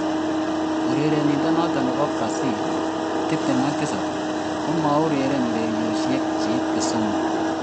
urerenindonoton nebo Brazil, 27, komaurereni urerioshek che ite somok.